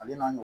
Ale n'a